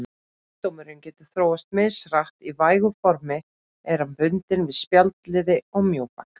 Sjúkdómurinn getur þróast mishratt, í vægu formi er hann bundinn við spjaldliði og mjóbak.